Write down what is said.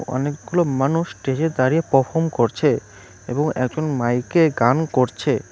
অনেকগুলো মানুষ স্টেজে দাঁড়িয়ে পারফর্ম করছে এবং একজন মাইকে গান করছে।